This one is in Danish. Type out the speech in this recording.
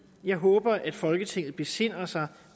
jeg håber at folketinget besinder sig